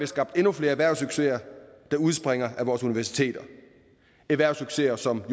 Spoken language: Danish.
skabt endnu flere erhvervssucceser der udspringer af vores universiteter erhvervssucceser som